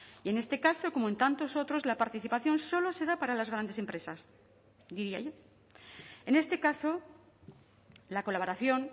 y en este caso como en tantos otros la participación solo se da para las grandes empresas en este caso la colaboración